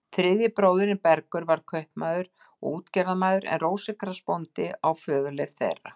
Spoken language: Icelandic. Þriðji bróðirinn, Bergur, varð kaupmaður og útgerðarmaður en Rósinkrans bóndi á föðurleifð þeirra.